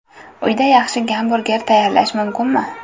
Uyda yaxshi gamburger tayyorlash mumkinmi?